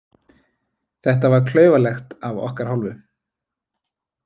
Þetta var klaufalegt af okkar hálfu.